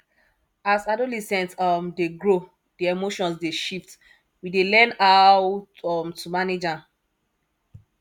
as adolescent um dey grow di emotions dey shift we dey learn how um to manage am